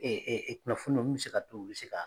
kunnafoniw min mi se ka to, u bi se ka